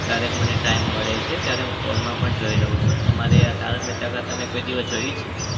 ક્યારેક મને time મળે છે ત્યારે હું phone માં પણ જોઈ લઉં છું. તમારે આ તારક મહેતા કા કોઈ દિવસ જોઈ છે?